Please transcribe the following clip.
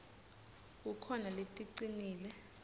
kukhona leticinile